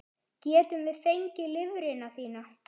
Getum við fengið lifrina þína?